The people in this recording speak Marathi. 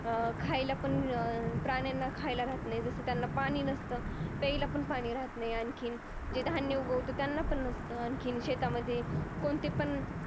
अं खायलापण अह प्राण्यांना खायाला राहत जस त्यांना पाणी नसतं प्यायला पण पाणी राहत नाही आणखीन जे धान्य उगवत त्यांना पण नसत आणखीन शेतामध्ये कोणतेपण